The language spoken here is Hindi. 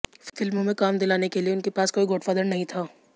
फिल्मों में काम दिलाने के लिए उनके पास कोई गॉडफादर नहीं था